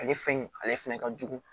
Ale fɛn in ale fɛnɛ ka jugu